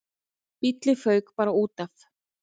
Bíllinn fauk bara útaf.